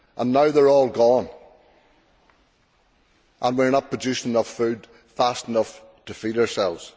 Now they are all gone and we are not producing enough food fast enough to feed ourselves.